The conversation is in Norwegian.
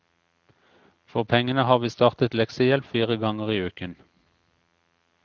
For pengene har vi startet leksehjelp fire ganger i uken.